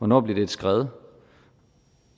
noget bliver et skred